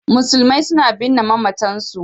Musulmi suna binne mamatansu.